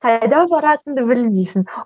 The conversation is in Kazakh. қайда баратыныңды білмейсің